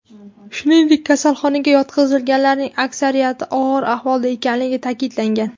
Shuningdek, kasalxonaga yotqizilganlarning aksariyati og‘ir ahvolda ekanligini ta’kidlagan.